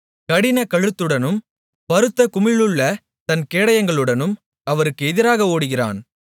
கடினக்கழுத்துடனும் பருத்த குமிழுள்ள தன் கேடயங்களுடனும் அவருக்கு எதிராக ஓடுகிறான்